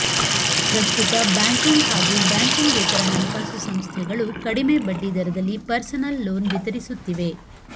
ಪ್ರಸ್ತುತ ಬ್ಯಾಂಕಿಂಗ್ ಹಾಗೂ ಬ್ಯಾಂಕಿಂಗೇತರ ಹಣಕಾಸು ಸಂಸ್ಥೆಗಳು ಕಡಿಮೆ ಬಡ್ಡಿ ದರದಲ್ಲಿ ಪರ್ಸನಲ್ ಲೋನ್ ವಿತರಿಸುತ್ತಿವೆ